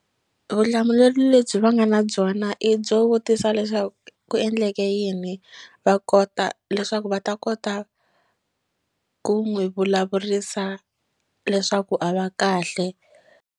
Vutihlamuleri lebyi va nga na byona i byo vutisa leswaku ku endleke yini va kota leswaku va ta kota ku n'wi vulavurisa leswaku a va kahle.